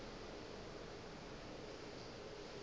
gore na e ka ba